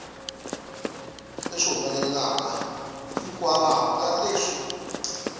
leswi humelelaka hikwalaho ka leswi